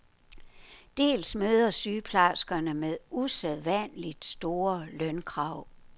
Dels møder sygeplejerskerne med usædvanligt store lønkrav.